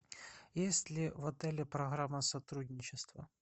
есть ли в отеле программа сотрудничества